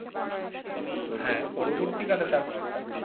হ্যাঁ পরবর্তীকালে তার বাবার